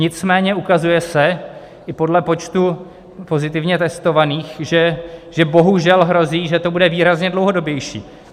Nicméně se ukazuje i podle počtu pozitivně testovaných, že bohužel hrozí, že to bude výrazně dlouhodobější.